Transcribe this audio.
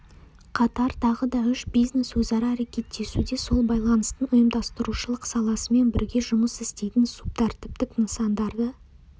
қатар тағы да үш бизнес-өзара әрекеттесуде сол байланыстың ұйымдастырушылық саласымен бірге жұмыс істейтін субтәртіптік нысандарды